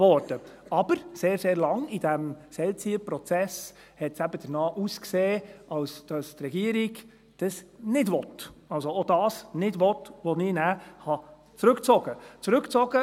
Aber sehr, sehr lange in diesem Seilziehprozess sah es danach aus, als wollte die Regierung dies nicht, also auch das nicht, was ich nachher zurückgezogen habe.